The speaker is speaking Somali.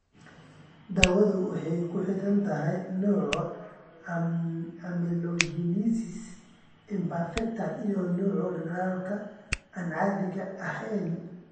Daawadu waxay ku xidhan tahay nooca amelogenesis imperfecta iyo nooca dhaldhalaalka aan caadiga ahayn.